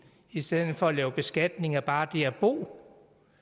i stedet for at lave beskatning af bare det at bo